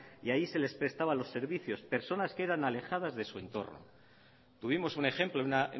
y allí se les prestaban los servicios personas que eran alejadas de su entorno tuvimos un ejemplo una